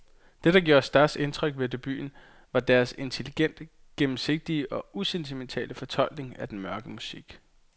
Det der gjorde størst indtryk ved debuten var deres intelligent gennemsigtige og usentimentale fortolkning af den mørke musik.